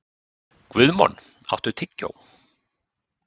Guðmon, áttu tyggjó?